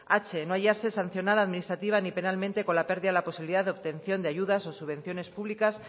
h no hallarse sancionada administrativa ni penalmente con la pérdida la posibilidad de obtención de ayudas o subvenciones públicas